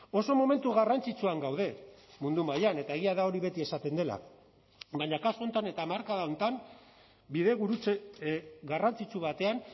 oso momentu garrantzitsuan gaude mundu mailan eta egia da hori beti esaten dela baina kasu honetan eta hamarkada honetan bidegurutze garrantzitsu batean